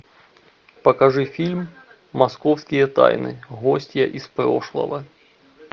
покажи фильм московские тайны гостья из прошлого